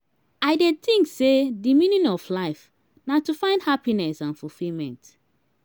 i dey think say di meaning of life na to find happiness and fulfillment.